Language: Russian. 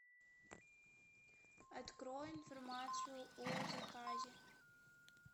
открой информацию о заказе